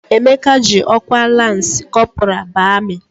Emeka ji ọkwa lansị kọpọral baa amị.